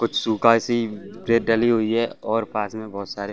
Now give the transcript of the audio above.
कुछ सूखा सी रेत डली हुई है और पास में बहुत सारे --